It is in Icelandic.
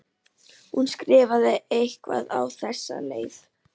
Hún skrifar eitthvað á þessa leið: